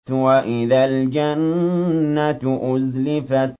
وَإِذَا الْجَنَّةُ أُزْلِفَتْ